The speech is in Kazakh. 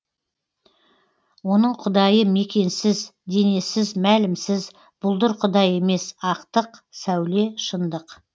оның құдайы мекенсіз денесіз мәлімсіз бұлдыр құдай емес ақтық сәуле шындық